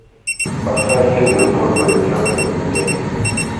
поставь фильм любовь по рецепту и без